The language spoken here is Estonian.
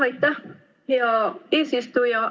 Aitäh, hea eesistuja!